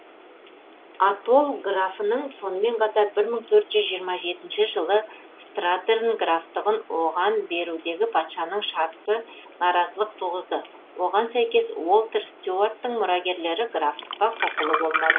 атолл графының сонымен қатар бір мың төрт жүз жиырма жетінші жылы стратерн графтығын оған берудегі патшаның шарты наразылық туғызды оған сәйкес уолтер стюарттың мұрагерлері графтыққа құқылы болмады